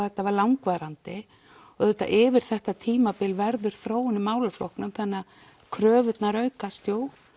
þetta var langvarandi auðvitað yfir þetta tímabil verður þróun í málaflokknum þannig kröfurnar aukast